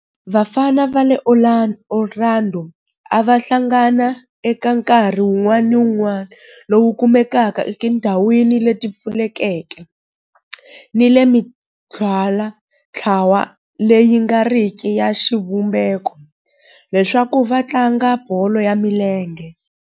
Vafana va le Orlando a va hlangana eka nkarhi wun'wana ni wun'wana lowu kumekaka etindhawini leti pfulekeke ni le ka mintlawa leyi nga riki ya xivumbeko leswaku va tlanga bolo ya milenge.